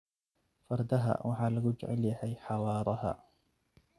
Fardaha waxaa lagu jecel yahay xawaaraha.